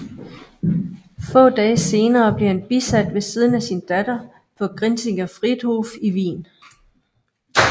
Få dage senere blev han bisat ved siden af sin datter på Grinzinger Friedhof i Wien